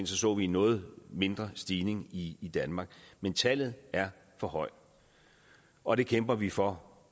så vi en noget mindre stigning i danmark men tallet er for højt og det kæmper vi for